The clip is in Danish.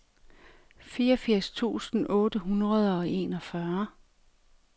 fireogfirs tusind otte hundrede og enogfyrre